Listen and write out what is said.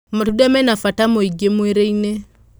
Matunda mena bata mwĩingĩmwĩrĩ-inĩ.